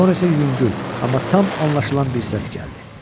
Sonra isə yüngül, amma tam anlaşılan bir səs gəldi.